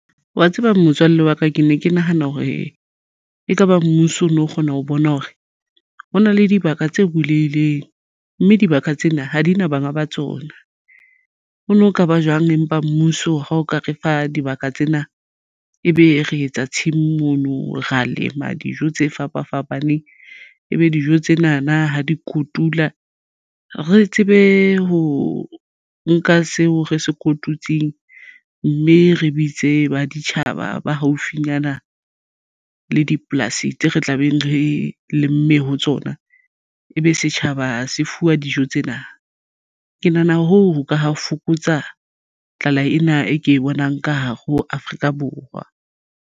Wa tseba motswalle wa ka ke ne ke nahana hore ekaba mmuso o no kgona ho bona hore ho na le dibaka tse bulehileng mme dibaka tsena ha di na banga ba tsona hono kaba jwang empa mmuso ha o ka re fa dibaka tsena ebe re etsa tshimo mono ra lema dijo tse fapafapaneng ebe dijo tsena na ha di kotula. Re tsebe ho nka seo re se kotutseng, mme re bitse baditjhaba ba haufinyana le dipolasi tse re tlabeng re leme ho tsona e be setjhaba se fuwa dijo tsena. Ke nahana hoo ho ka ho fokotsa tlala ena e ke bonang ka hare ho Afrika Borwa.